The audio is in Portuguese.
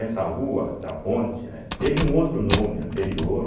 Essa rua da ponte, né, teve um outro nome anterior,